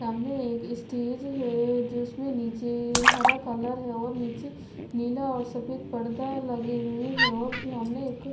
सामने एक स्टेज है जिसमें नीचे हरा कलर है और नीचे नीला और सफेद परदा लगे हुए हैं और सामने एक--